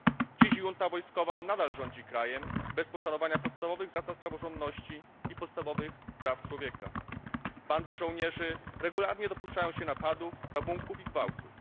Dziś junta wojskowa nadal rządzi krajem bez poszanowania podstawowych zasad praworządności i podstawowych praw człowieka. Bandy żołnierzy regularnie dopuszczają się napadów, rabunków i gwałtów.